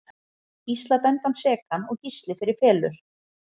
Þeir fá Gísla dæmdan sekan og Gísli fer í felur.